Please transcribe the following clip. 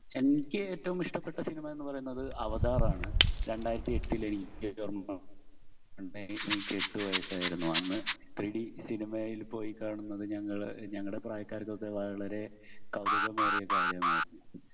എനിക്ക് ഏറ്റവും ഇഷ്ടപ്പെട്ട സിനിമ എന്ന് പറയുന്നത് അവതാർ ആണ്‌. രണ്ടായിരത്തി എട്ടിൽ എനിക്ക് എനിക്ക് എട്ട് വയസ്സായിരുന്നു. അന്ന് 3-ഡി സിനിമയിൽ പോയി കാണുന്നത് ഞങ്ങൾ ഞങ്ങടെ പ്രായക്കാർക്കൊക്കെ വളരേ കൗതുകമേറിയ കാര്യം ആയിരുന്നു.